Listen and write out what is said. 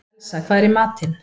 Elsa, hvað er í matinn?